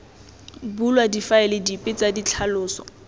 bulwa difaele dipe tsa ditlhaloso